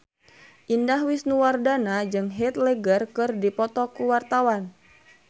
Indah Wisnuwardana jeung Heath Ledger keur dipoto ku wartawan